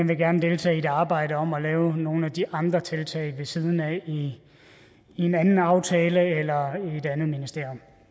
vil gerne deltage i et arbejde om at lave nogle af de andre tiltag ved siden af i en anden aftale eller i et andet ministerium